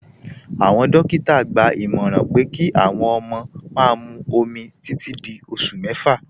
Awọn dòkítà gbà ìmọ̀ràn pé kí awọn ọmọ má mú òmì títì dí ọṣù mẹ́fà.